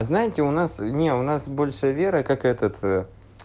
знаете у нас не у нас больше веры как этот